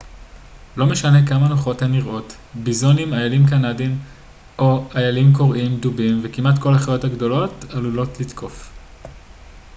לא משנה כמה נוחות הן נראות ביזונים איילים קנדיים איילים קוראים דובים וכמעט כל החיות הגדולות עלולות לתקוף